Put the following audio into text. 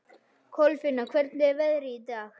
Kolfinna, hvernig er veðrið í dag?